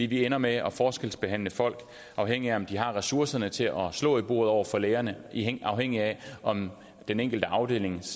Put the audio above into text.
vi ender med at forskelsbehandle folk afhængigt af om de har ressourcerne til at slå i bordet over for lægerne afhængigt af om den enkelte afdelings